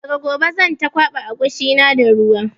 Daga gobe zan ta kwaɓa agushi na da ruwa